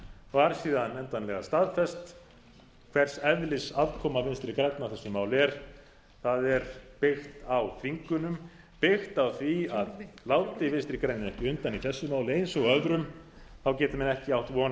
var síðan endanlega staðfest hvers eðlis aðkoma vinstri grænna að þessu máli er það er byggt á þvingunum byggt á því að láti vinstri grænir ekki undan í þessu máli eins og öðrum geti menn ekki átt von á